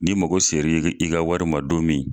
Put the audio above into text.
N'i mago seri i ka wari ma don min